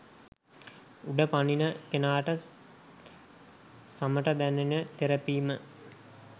උඩ පනින කෙනාට සමට දැනෙන තෙරපීම